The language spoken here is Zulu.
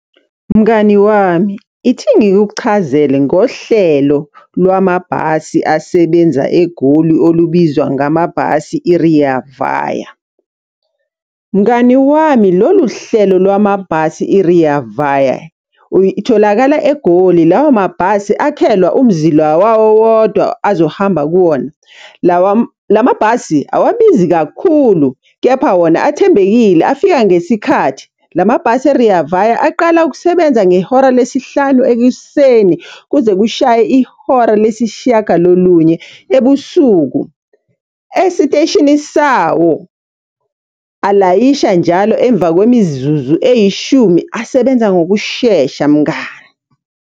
Mngani wami, ithi ngikuchazele ngohlelo lwamabhasi asebenza egoli olubizwa ngamabhasi, i-Rea Vaya. Mngani wami lolu hlelo lwamabhasi i-Rea Vaya, itholakala eGoli lawo mabhasi akhelwa umzila wawo wodwa azohamba kuwona. la mabhasi awabizi kakhulu, kepha wona athembekile afika ngesikhathi. La mabhasi e-Rea Vaya aqala ukusebenza ngehora lesihlanu ekuseni, kuze kushaye ihora lesishiyagalolunye ebusuku. Esiteshini sawo alayisha njalo emva kwemizuzu eyishumi asebenza ngokushesha mngani.